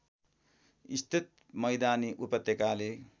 स्थित मैदानी उपत्यकाले